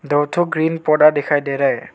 दो ठो ग्रीन पौधा दिखाई दे रहा है।